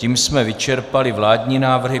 Tím jsme vyčerpali vládní návrhy.